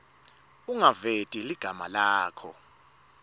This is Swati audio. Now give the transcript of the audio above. ungaveti ligama lakho